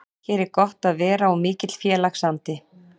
Hér er gott að vera og mikill félagsandi.